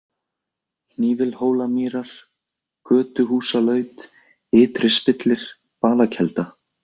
Hnífilhólamýrar, Götuhúsalaut, Ytri-Spillir, Balakelda